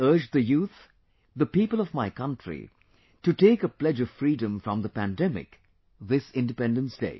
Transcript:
I urge the youth, the people of my country to take a pledge of freedom from the pandemic this Independence day